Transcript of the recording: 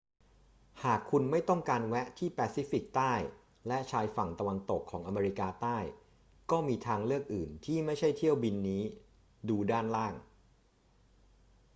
หากคุณไม่ต้องการแวะที่แปซิฟิกใต้และชายฝั่งตะวันตกของอเมริกาใต้ ก็มีทางเลือกอื่น ที่ไม่ใช่เที่ยวบินนี้ ดูด้านล่าง